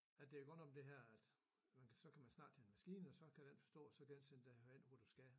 At det godt nok det her at man kan så kan man snakke til en maskine så kan den forstå og så kan den sende dig derhen hvor du skal